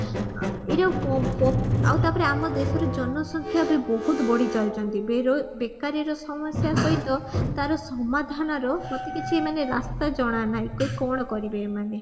ଏଇଟାକୁ ଆଉ ତାପରେ ଆମ ଦେଶରେ ଜନ ସଂଖ୍ୟା ବି ବହୁତ ବଢି ଚାଲୁଛନ୍ତି ବେରୋଜ ବେକାରୀର ସମସ୍ୟା ସହିତ ତାର ସମାଧାନର ମତେ କିଛି ମାନେ ରାସ୍ତା ଜଣା ନାହିଁ କି କଣ କରିବେ ଏମାନେ